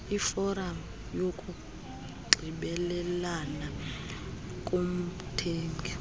iforam yokunxibelelana komthengi